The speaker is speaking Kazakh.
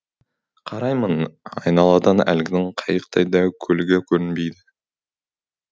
қараймын айналадан әлгінің қайықтай дәу көлігі көрінбейді